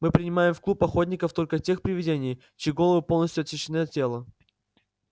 мы принимаем в клуб охотников только тех привидений чьи головы полностью отсечены от тела